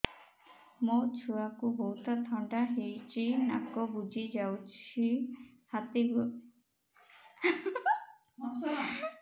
ମୋ ଛୁଆକୁ ବହୁତ ଥଣ୍ଡା ହେଇଚି ନାକ ବୁଜି ଯାଉଛି ଛାତି ଘଡ ଘଡ ହଉଚି